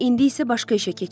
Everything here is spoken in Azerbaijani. İndi isə başqa işə keçək.